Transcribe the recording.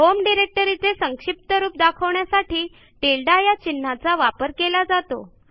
home डिरेक्टरीचे संक्षिप्त रूप दाखवण्यासाठी टिल्डे या चिन्हाचा वापर केला जातो